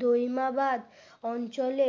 দই মা বাদ অঞ্চলে